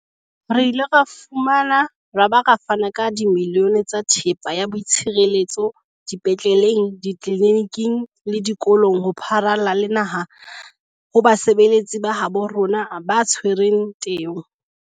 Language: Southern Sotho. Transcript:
Re ile ra fumana ra ba ra fana ka dimilione tsa thepa ya boitshireletso dipetleleng, ditleliniking le dikolong ho pharalla le naha ho basebetsi ba habo rona ba tshwereng teu.